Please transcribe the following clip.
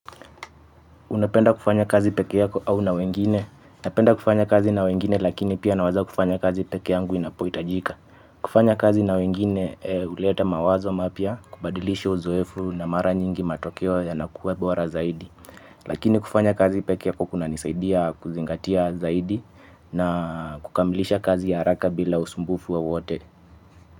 Unapenda kufanya kazi peke yako au na wengine? Napenda kufanya kazi na wengine lakini pia naweza kufanya kazi pekee yangu inapohitajika. Kufanya kazi na wengine huleta mawazo mapya, kubadilishi uzoefu na mara nyingi matokeo yanakuwa bora zaidi. Lakini kufanya kazi pekee yako kunanisaidia kuzingatia zaidi na kukamilisha kazi haraka bila usumbufu wowote.